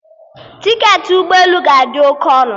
Tiketi ụgbọ elu ga-adị oke ọnụ